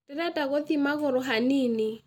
Ndĩrenda gũthiĩ magũrũ hanini